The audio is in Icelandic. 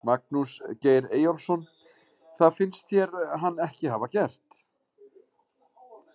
Magnús Geir Eyjólfsson: Það finnst þér hann ekki hafa gert?